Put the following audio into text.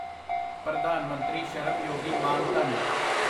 ਪ੍ਰਧਾਨ ਮੰਤਰੀ ਸ਼ਰਮ ਯੋਗੀ ਮਾਨ ਧਨ